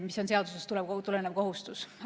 See on seadusest tulenev kohustus.